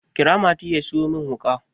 kira mati ya siyo min wuka!